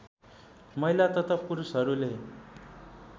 महिला तथा पुरुषहरूले